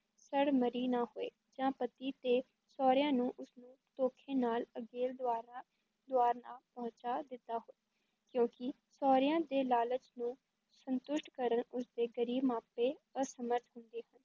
ਸੜ ਮਰੀ ਨਾ ਹੋਏ ਜਾਂ ਪਤੀ ਤੇ ਸਹੁਰਿਆਂ ਨੂੰ ਉਸ ਨੂੰ ਧੋਖੇ ਨਾਲ ਅਗਲੇ ਦੁਆਰਾ ਦੁਆਰ ਨਾ ਪਹੁੰਚਾ ਦਿੱਤਾ ਹੋਏ ਕਿਉਂਕਿ ਸਹੁਰਿਆਂ ਦੇ ਲਾਲਚ ਨੂੰ ਸੰਤੁਸ਼ਟ ਕਰਨ ਉਸ ਦੇ ਗ਼ਰੀਬ ਮਾਪੇ ਅਸਮਰਥ ਹੁੰਦੇ ਹਨ।